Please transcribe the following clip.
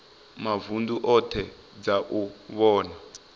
mavunḓu oṱhe dza u vhona